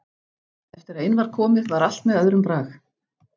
Eftir að inn var komið var allt með öðrum brag.